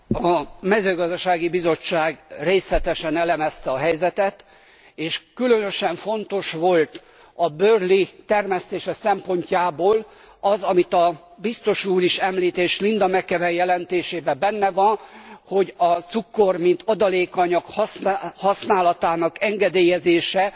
A Mezőgazdasági Bizottság részletesen elemezte a helyzetet és különösen fontos volt a Burley termesztése szempontjából az, amit a Biztos úr is említ és Linda McAvan jelentésében is benne van, hogy a cukor, mint adalékanyag használatának engedélyezése